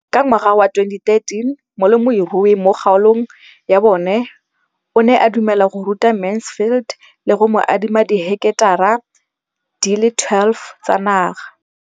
Ka ngwaga wa 2013, molemirui mo kgaolong ya bona o ne a dumela go ruta Mansfield le go mo adima di heketara di le 12 tsa naga.